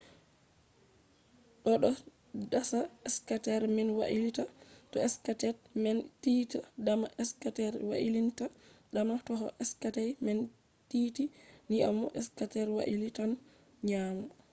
do do dasa skater man wailita. to skates man tiiti dama skater wailintan dama toh skates man tiiti nyaamo skater wailitan nyaamo